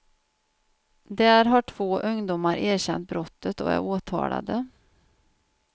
Där har två ungdomar erkänt brottet och är åtalade.